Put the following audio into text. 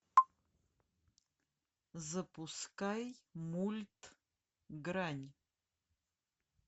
запускай мульт грань